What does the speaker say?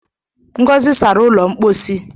Ngozi sara ụlọ mposi.